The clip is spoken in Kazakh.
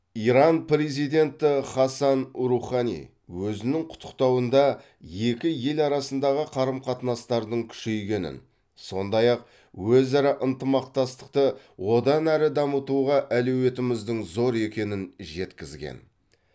иран президенті хасан рухани өзінің құттықтауында екі ел арасындағы қарым қатынастардың күшейгенін сондай ақ өзара ынтымақтастықты одан әрі дамытуға әлеуетіміздің зор екенін жеткізген